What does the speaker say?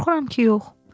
Qorxuram ki yox.